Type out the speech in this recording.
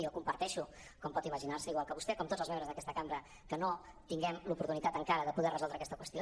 i jo comparteixo com pot imaginar se igual que vostè com tots els membres d’aquesta cambra que no tinguem l’oportunitat encara de poder resoldre aquesta qüestió